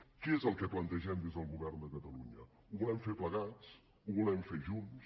què és el que plantegem des del govern de catalunya ho volem fer plegats ho volem fer junts